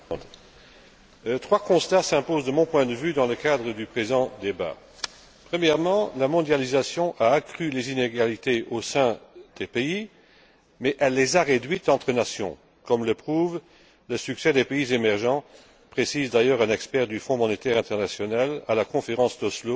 Madame la Présidente, mes chers collègues, trois constats s'imposent de mon point de vue dans le cadre du présent débat. Premièrement, la mondialisation a accru les inégalités au sein des pays mais elle les a réduites entre nations, comme le prouve le succès des pays émergents, précise d'ailleurs un expert du Fonds monétaire international à la conférence d'Oslo,